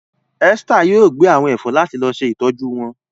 Esther yóò gbẹ àwọn èfó láti se ìtọjú wón.